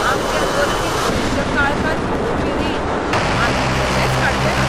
आमचें अर्थीक भविश्य काळखांत उडोवपी रीण आमी कशेच काडचे नात!